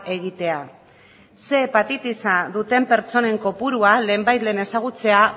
egitea ehun hepatitisa duten pertsonen kopurua lehenbailehen ezagutzea